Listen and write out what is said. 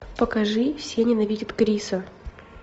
покажи все ненавидят криса